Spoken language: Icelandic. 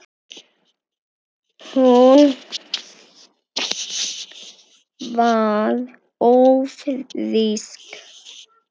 Hún var ófrísk.